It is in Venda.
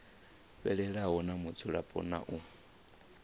fhelelaho dza mudzulapo na u